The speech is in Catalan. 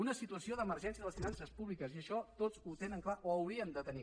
una situació d’emergència de les finances públiques i això tots ho tenen clar o ho hauríem de tenir